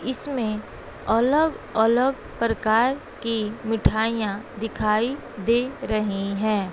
इसमें अलग अलग प्रकार की मिठाइयां दिखाई दे रही हैं।